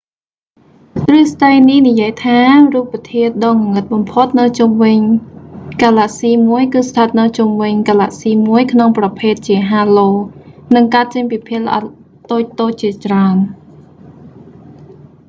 ទ្រឹស្តីនេះនិយាយថា រូបធាតុដ៏ងងឹតបំផុតនៅជុំវិញហ្គាឡាក់ស៊ីមួយគឺស្ថិតនៅជុំវិញហ្គាឡាក់ស៊ីមួយក្នុងប្រភេទជាហាឡូ halo និងកើតចេញពីភាគល្អិតតូច ៗ ជាច្រើន